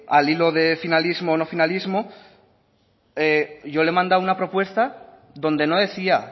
al hilo del finalismo o no finalismo yo le he mandado una propuesta donde no decía